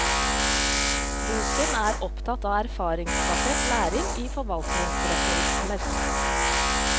Boken er opptatt av erfaringsbasert læring i forvaltningsreformer.